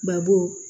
Babu